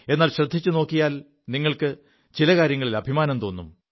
എാൽ ശ്രദ്ധിച്ചു നോക്കിയാൽ നിങ്ങൾക്ക് ചില കാര്യങ്ങളിൽ അഭിമാനം തോും